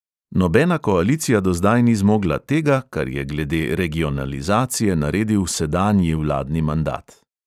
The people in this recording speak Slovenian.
Nobena koalicija do zdaj ni zmogla tega, kar je glede regionalizacije naredil sedanji vladni mandat.